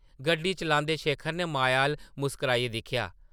गड्डी चलांदे शेखर नै माया अʼल्ल मुस्काराइयै दिक्खेआ ।